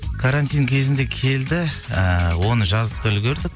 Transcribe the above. карантин кезінде келді ыыы оны жазып та үлгердік